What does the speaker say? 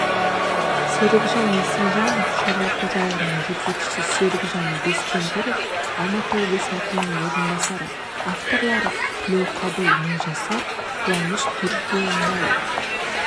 серікжан есімжанов шаруа қожалығының жетекшісі серікжан бескемпіров алматы облысы әкімінің орынбасары авторлары тілеуқабыл мыңжасар қуаныш түргенбаев